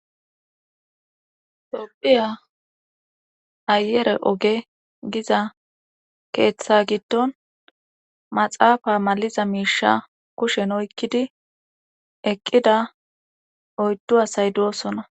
tophiya ayere oge giza keeththa giddon maxaafa maliza miisha kushen oykkidi eqqida oyddu asay doosona